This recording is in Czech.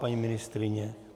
Paní ministryně?